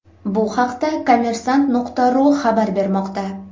Bu haqda Kommersant.ru xabar bermoqda .